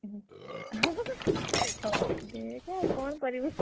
ହଉ ଦେଖେ ଆଉ କଣ କରିବୁ?